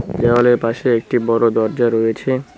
দেওয়ালের পাশে একটি বড় দরজা রয়েছে।